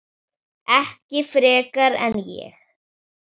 Ekki frekar en ég.